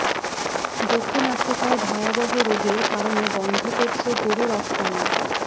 দক্ষিণ আফ্রিকায় ভয়াবহ রোগের কারণে বন্ধ করছে গরু রফতানি